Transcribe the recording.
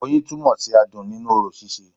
Oyin túnmò sí adùn nínú orò síse